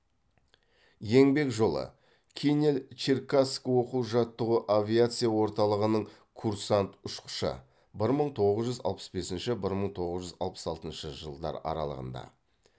еңбек жолы кинель черкасск оқу жаттығу авиация орталығының курсант ұшқышы бір мың тоғыз жүз алпыс бесінші бір мың тоғыз жүз алпыс алтыншы жылдар аралығында